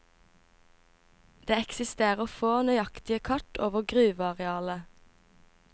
Det eksisterer få nøyaktige kart over gruvearealet.